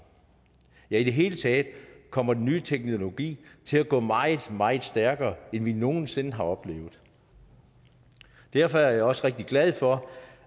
i det hele taget kommer den nye teknologi til at gå meget meget stærkere end vi nogen sinde har oplevet derfor er jeg også rigtig glad for